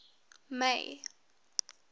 may